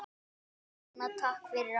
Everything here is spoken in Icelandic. Elsku Rúna, takk fyrir allt.